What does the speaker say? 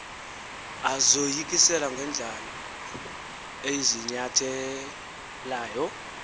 azoyikise ngendlala eziyinyathelayo